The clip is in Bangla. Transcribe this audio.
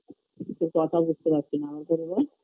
তোর কথা বুঝতে পারছি না ভালো করে বল